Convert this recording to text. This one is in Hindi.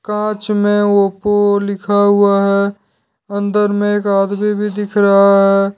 कांच में ओप्पो लिखा हुआ है अंदर में एक आदमी भी दिख रहा है।